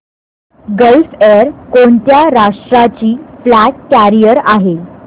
gulf Air कोणत्या राष्ट्राची flag carrier आहे